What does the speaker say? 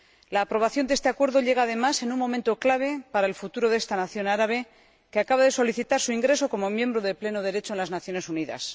La aprobación de este Acuerdo llega, además, en un momento clave para el futuro de esta nación árabe, que acaba de solicitar su ingreso como miembro de pleno derecho en las Naciones Unidas.